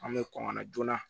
An bɛ kɔn ka na joona